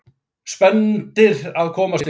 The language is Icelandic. Spenntir að komast yfir